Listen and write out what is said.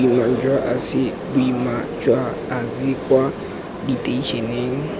boima jwa ase kwa diteišeneng